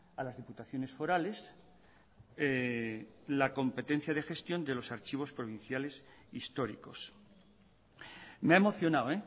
a las diputaciones forales la competencia de gestión de los archivos provinciales históricos me ha emocionado